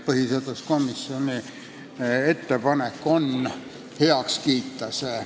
Põhiseaduskomisjoni ettepanek on see vahetus heaks kiita.